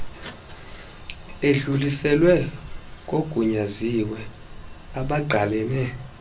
edluliselwe kogunyaziwe abangqalene